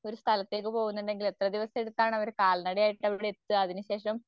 ഒരു സ്ഥലത്തേക്ക് പോകുന്നുണ്ടെങ്കിൽ എത്ര ദിവസഎടുത്താണ് അവർ കാൽനടയായിട്ട് എത്തുക. അതിനുശേഷം